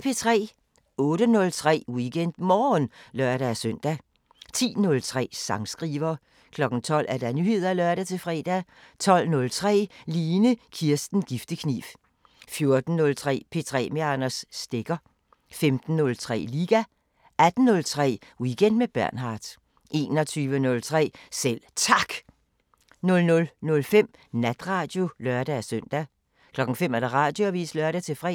08:03: WeekendMorgen (lør-søn) 10:03: Sangskriver 12:00: Nyheder (lør-fre) 12:03: Line Kirsten Giftekniv 14:03: P3 med Anders Stegger 15:03: Liga 18:03: Weekend med Bernhard 21:03: Selv Tak 00:05: Natradio (lør-søn) 05:00: Radioavisen (lør-fre)